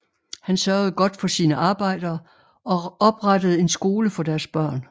Han sørgede godt for sine arbejdere og oprettede en skole for deres børn